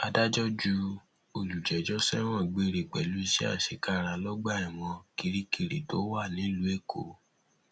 adájọ ju olùjẹjọ sẹwọn gbére pẹlú iṣẹ àṣekára lọgbà ẹwọn kirikiri tó wà nílùú èkó